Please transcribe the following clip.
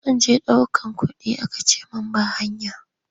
Zan je ɗaukar kuɗi aka ce ba hanya.